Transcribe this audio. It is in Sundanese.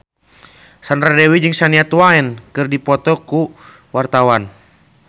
Sandra Dewi jeung Shania Twain keur dipoto ku wartawan